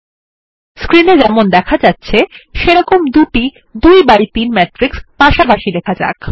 screen এ যেমন দেখা যাচ্ছে সেরকম দুটি ২ বাই ৩ ম্যাট্রিক্স পাশাপাশি লেখা যাক